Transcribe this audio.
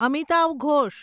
Amitav Ghosh